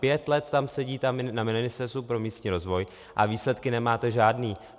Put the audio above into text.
Pět let tam sedíte na Ministerstvu pro místní rozvoj a výsledky nemáte žádné.